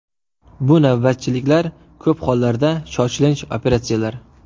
Bu navbatchiliklar, ko‘p holatlarda shoshilinch operatsiyalar.